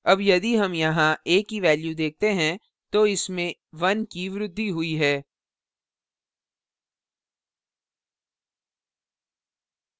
अब यदि हम यहाँ a की value देखते हैं तो इसमें 1 की वृद्धि हुई है